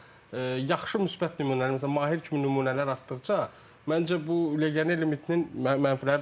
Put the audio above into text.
amma yaxşı müsbət nümunələr, məsələn, Mahir kimi nümunələr artdıqca, məncə bu legioner limitinin mənfiləri də ola bilər.